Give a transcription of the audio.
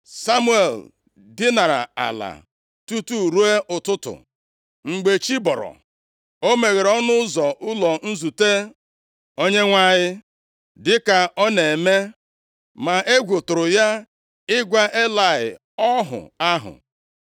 Samuel dinara ala tutu ruo ụtụtụ. Mgbe chi bọrọ, o meghere ọnụ ụzọ ụlọ nzute Onyenwe anyị dịka ọ na-eme. Ma egwu tụrụ ya ịgwa Elayị ọhụ ahụ.